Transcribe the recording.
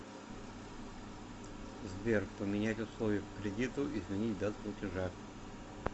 сбер поменять условия по кредиту изменить дату платежа